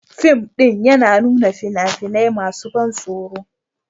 Fim ɗin yana nuna fina-finai masu ban tsoro